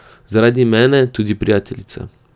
Zaradi mene tudi prijateljica.